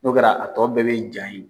N'o kɛra, a tɔ bɛɛ be ja yen.